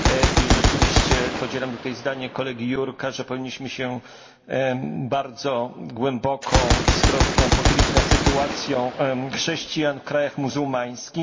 I rzeczywiście podzielam tutaj zdanie kolegi Jurka, że powinniśmy się bardzo głęboko i z troską pochylić nad sytuacją chrześcijan w krajach muzułmańskich.